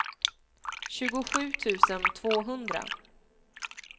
tjugosju tusen tvåhundra